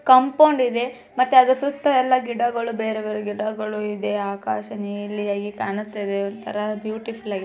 ಕಾಂಪೌಂಡಿದೆ ಮತ್ತೆ ಆದರೂ ಸುತ್ತ ಎಲ್ಲಾ ಗಿಡಗಳು ಬೇರೆ ಬೇರೆ ಗಿಡಗಳು ಇದೆ. ಆಕಾಶ ನಿಲಿ ಆಗಿ ಕಾಣ್ಸ್ತಾ ಇದೆ ಒಂತರ ಬ್ಯೂಟಿಫುಲ್ ಆಗಿದೆ.